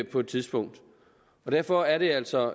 på et tidspunkt derfor er det altså